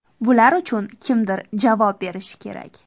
Bular uchun kimdir javob berishi kerak!